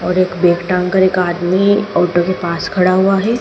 और एक का आदमी ऑटो के पास खड़ा हुआ है।